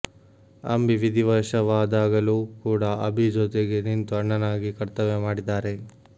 ಅಂಬಿ ವಿಧಿವಶವಾದಾಗಲೂ ಕೂಡ ಅಭಿ ಜೊತೆಗೆ ನಿಂತು ಅಣ್ಣನಾಗಿ ಕರ್ತವ್ಯ ಮಾಡಿದ್ದಾರೆ